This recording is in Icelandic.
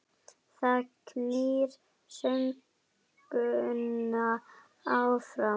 Það knýr söguna áfram